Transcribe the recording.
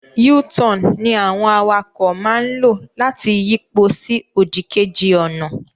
U-turn ní àwọn awakọ̀ máa lò láti yipo sí òdì kejì ọ̀nà